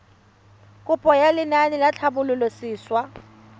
kopo ya lenaane la tlhabololosewa